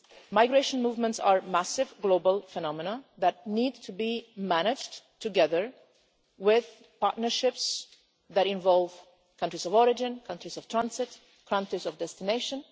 Migration movements are massive global phenomena that need to be managed together with partnerships that involve countries of origin, countries of transit, and countries of destination.